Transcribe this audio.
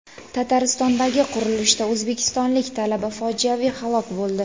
Tataristondagi qurilishda o‘zbekistonlik talaba fojiaviy halok bo‘ldi.